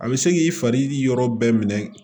A bɛ se k'i fari yɔrɔ bɛɛ minɛ